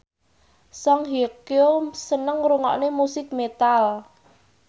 Song Hye Kyo seneng ngrungokne musik metal